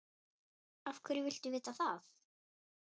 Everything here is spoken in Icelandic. Af hverju viltu vita það?